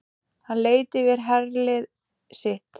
Hann leit yfir herlið sitt.